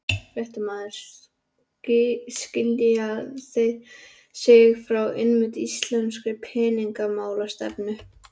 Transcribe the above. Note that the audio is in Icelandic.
Fréttamaður: Skilja þeir sig frá einmitt íslenskri peningamálastefnu?